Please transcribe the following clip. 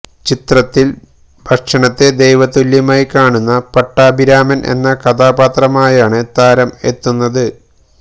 ചിത്രത്തിൽ ഭക്ഷണത്തെ ദൈവ തുല്യമായി കാണുന്ന പട്ടാഭിരാമൻ എന്ന കഥാപാത്രമായാണ് താരം എത്തുന്നത്